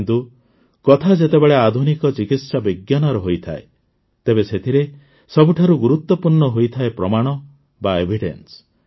କିନ୍ତୁ କଥା ଯେତେବେଳେ ଆଧୁନିକ ଚିକିତ୍ସାବିଜ୍ଞାନର ହୋଇଥାଏ ତେବେ ସେଥିରେ ସବୁଠାରୁ ଗୁରୁତ୍ୱପୂର୍ଣ୍ଣ ହୋଇଥାଏ ପ୍ରମାଣ ବା ଏଭିଡେନ୍ସ